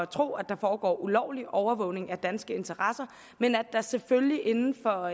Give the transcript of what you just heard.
tro at der foregår ulovlig overvågning af danske interesser men at der selvfølgelig inden for